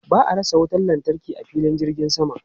Ba a rasa wutan lantarki a filin jirgin sama.